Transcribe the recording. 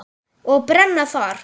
Og brenna þar.